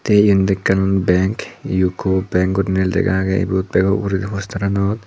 the iyanot ekkan bank U_C_O bank guriney lega age iyot bego uguredi poster anot.